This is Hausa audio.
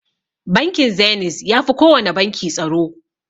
Bankin Zeniz yafi kowana banki tsaro.